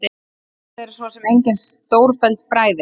Þetta eru svo sem engin stórfelld fræði.